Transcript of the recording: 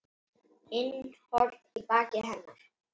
inn horn í baki hennar.